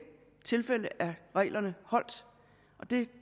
tilfælde er reglerne holdt det